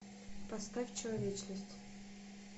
поставь человечность